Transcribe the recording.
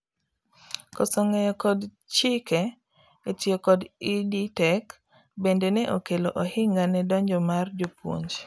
koso ng'eyo kod chike e tiyo kod EdTech bende ne okelo ohinga ne donjo mar jopuonj